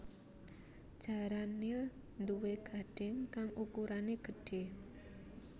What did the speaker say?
Jaran nil nduwé gadhing kang ukurané gedhé